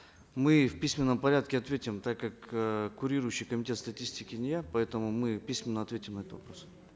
мы в письменном порядке ответим так как э курирующий комитет статистики не я поэтому мы письменно ответим на этот вопрос